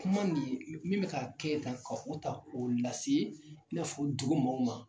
Kuma nin min bɛ ka kɛ tan ka o ta k'o lase i n'a fɔ dugu mɔw ma.